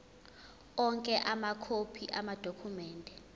onke amakhophi amadokhumende